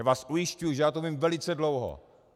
Já vás ujišťuji, že já to vím velice dlouho.